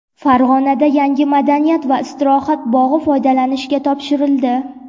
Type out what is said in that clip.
Farg‘onada yangi madaniyat va istirohat bog‘i foydalanishga topshirildi .